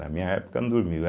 Na minha época, não dormia eu